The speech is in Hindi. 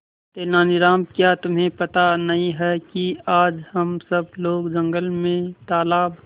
तेनालीराम क्या तुम्हें पता नहीं है कि आज हम सब लोग जंगल में तालाब